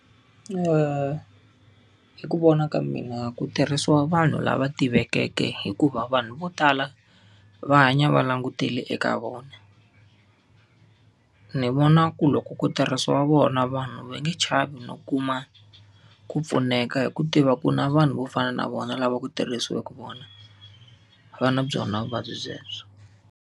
hi ku vona ka mina ku tirhisiwa vanhu lava tivekeke hikuva vanhu vo tala, va hanya va langutele eka vona. Ni vona ku loko ku tirhisiwa vona vanhu va nge chavi no kuma ku pfuneka hi ku tiva ku na vanhu vo fana na vona lava ku tirhisiweke vona, va na byona vuvabyi bya byebyo.